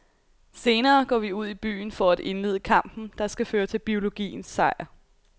Senere går vi ud i byen for at indlede kampen der skal føre til biologiens sejr.